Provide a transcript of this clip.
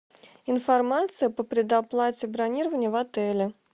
информация по предоплате бронирования в отеле